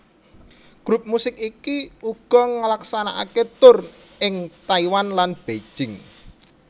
Grup musik iki uga ngelaksanakaké tur ning Taiwan lan Beijing